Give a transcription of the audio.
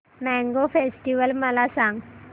mango festival मला सांग